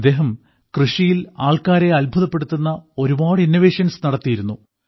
ഇദ്ദേഹം കൃഷിയിൽ ആൾക്കാരെ അത്ഭുതപ്പെടുത്തുന്ന ഒരുപാട് ഇന്നോവേഷൻസ് നടത്തിയിരുന്നു